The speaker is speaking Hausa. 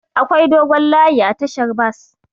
Akwai dogon layi a tashar bas.